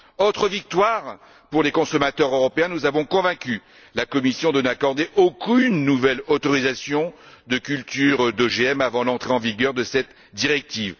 Autre victoire pour les consommateurs européens, nous avons convaincu la Commission de n'accorder aucune nouvelle autorisation de culture d'OGM avant l'entrée en vigueur de cette directive.